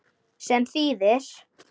sem þýðir